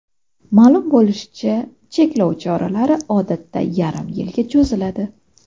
Ma’lum bo‘lishicha, cheklov choralari odatda yarim yilga cho‘ziladi.